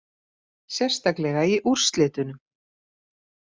Sérstaklega í úrslitunum